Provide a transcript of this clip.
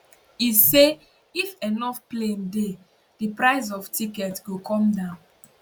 e say if enough plane dey di price of ticket go come down